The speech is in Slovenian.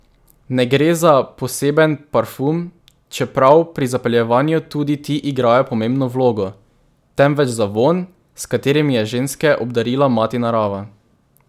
Ne gre za poseben parfum, čeprav pri zapeljevanju tudi ti igrajo pomembno vlogo, temveč za vonj, s katerim je ženske obdarila mati narava.